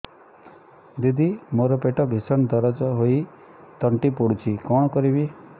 ଦିଦି ମୋର ପେଟ ଭୀଷଣ ଦରଜ ହୋଇ ତଣ୍ଟି ପୋଡୁଛି କଣ କରିବି